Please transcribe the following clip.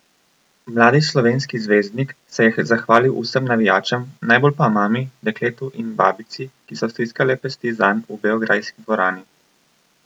Mladi slovenski zvezdnik se je zahvalil vsem navijačem, najbolj pa mami, dekletu in babici, ki so stiskale pesti zanj v beograjski dvorani.